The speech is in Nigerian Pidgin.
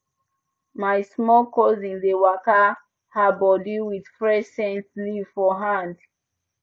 my small cousin dey waka her body with fresh scent leaf for hand